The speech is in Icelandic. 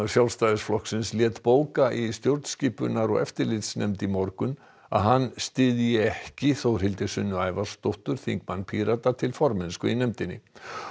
Sjálfstæðisflokksins lét bóka í stjórnskipunar og eftirlitsnefnd í morgun að hann styðji ekki Þórhildi Sunnu Ævarsdóttur þingmann Pírata til formennsku í nefndinni